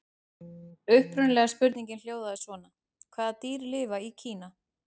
Upprunalega spurningin hljóðaði svona: Hvaða dýr lifa í Kína?